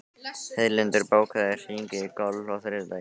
Heiðlindur, bókaðu hring í golf á þriðjudaginn.